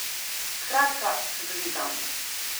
Skratka, čudovit dan.